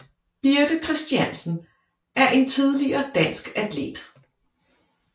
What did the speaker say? Birthe Kristiansen er en tidligere dansk atlet